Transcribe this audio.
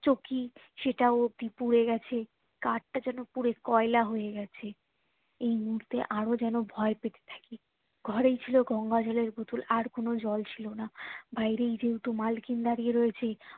চৌকি সেটা অবধি পুরো গাছে কাঠটা যেন পুড়ে কয়লা হয়ে গেছে এই মুহূর্তে আরো যেন ভয় পাচ্ছি ঘরে ছিল গঙ্গা জলের বোতল আর কোনো জল ছিল না বাইরে যেহেতু মালকিন দাঁড়িয়ে রয়েছে